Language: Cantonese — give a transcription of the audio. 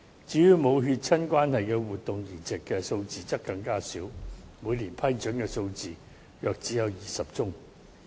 至於無血親關係的活體移植數字則更加少，每年批准的數字只有約20宗。